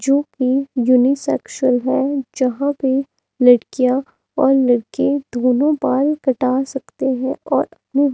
जो कि यूनिसेक्सुअल है जहां पे लड़कियां और लड़के दोनों बाल कटा सकते हैं और अपने--